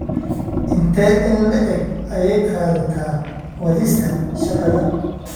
Intee in le'eg ayay qaadataa wadista shaqada?